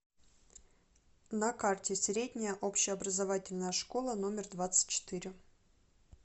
на карте средняя общеобразовательная школа номер двадцать четыре